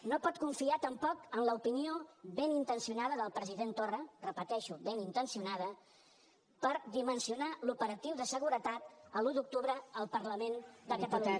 no pot confiar tampoc en l’opinió ben intencionada del president torra ho repeteixo ben intencionada per dimensionar l’operatiu de seguretat l’un d’octubre al parlament de catalunya